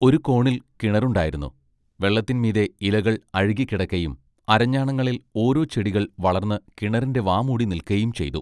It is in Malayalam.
ഒരു കോണിൽ കിണറുണ്ടായിരുന്നു. വെള്ളത്തിൻ മീതെ ഇലകൾ അഴുകിക്കിടക്കയും അരഞ്ഞാണങ്ങളിൽ ഓരോ ചെടികൾ വളർന്ന് കിണറിന്റെ വാമൂടി നിൽക്കയും ചെയ്തു.